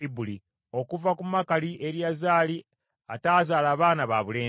Okuva ku Makuli, Eriyazaali, ataazaala baana babulenzi.